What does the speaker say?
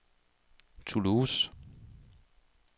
Toulouse